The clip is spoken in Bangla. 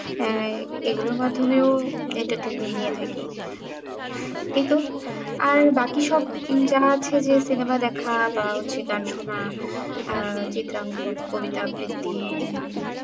হ্যাঁ এগুলোর মাধমেও entertainment নিয়ে থাকি কিন্তু আর বাকি সব যা আছে যে cinema দেখা বা হচ্ছে গানসোনা শোনা আহ চিত্রাঙ্কন কবিতা আবৃত্তি